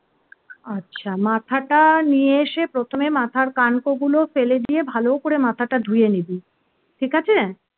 আচ্ছা মাথাটা নিয়ে এসে প্রথমে মাথার কানকো গুলো ফেলে দিয়ে ভালো করে মাথাটা ধুয়ে নিবি ঠিক আছে